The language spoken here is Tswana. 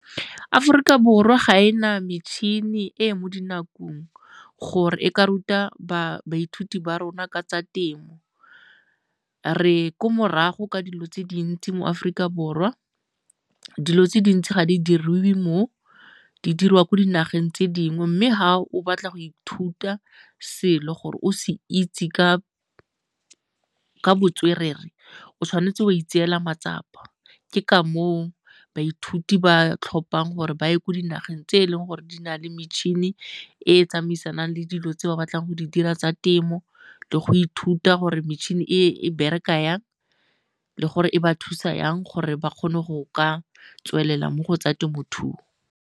Aforika Borwa ga e na metšhini e e mo dinakong gore e ka ruta baithuti ba rona ka tsa temo. Re ko morago ka dilo tse dintsi mo Aforika Borwa, dilo tse dintsi ga di diriwe mo di diriwa ko dinageng tse dingwe mme ga o batla go ithuta selo gore o se itse ka botswerere o tshwanetse wa itseela matsapa. Ke ka moo baithuti ba tlhophang gore ba ye ko dinageng tse e leng gore di na le metšhini e e tsamaisanang le dilo tse ba batlang go di dira tsa temo le go ithuta gore metšhini e bereka jang le gore e ba thusa jang gore ba kgone go ka tswelela mo go tsa temothuo.